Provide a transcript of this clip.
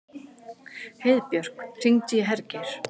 Heiðbjörk, hringdu í Hergeir.